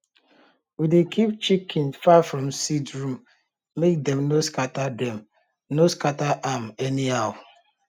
we dey keep chicken far from seed room make dem no scatter dem no scatter am anyhow